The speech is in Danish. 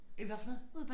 Øh hvad for noget?